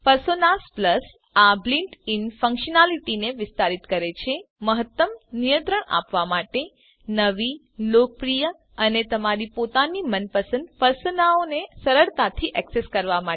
personas plus આ built in ફંક્શનાલીટીને વિસ્તારિત કરે છે મહત્તમ નિયંત્રણ આપવા માટે નવી લોકપ્રિય અને તમારી પોતાની મનપસંદ પર્સોનાઓને સરળતાથી એક્સેસ કરવા માટે